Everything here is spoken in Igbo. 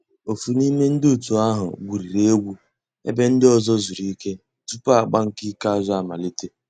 Ófú n'ime ndi ótú ahu gwuriri egwu èbé ndị́ ọ̀zọ́ zùrú ìké túpú àgbà nkè ìkèázụ́ àmàlíté.